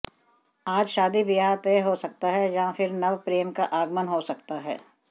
आज शादी ब्याह तय हो सकता है या फिर नवप्रेम का आगमन हो सकता है